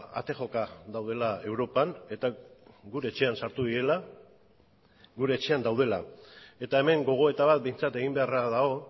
ate joka daudela europan eta gure etxean sartu direla gure etxean daudela eta hemen gogoeta bat behintzat egin beharra dago